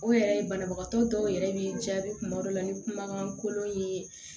O yɛrɛ ye banabagatɔ dɔw yɛrɛ bɛ jaabi kuma dɔw la ni kumakan kolon ye